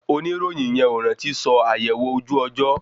Oníròyìn yẹn ò rántí sọ àyẹwò ojú ọjọ́